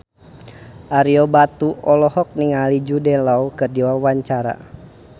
Ario Batu olohok ningali Jude Law keur diwawancara